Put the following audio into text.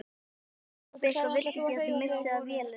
Pabbi ykkar vill ekki að þið missið af vélinni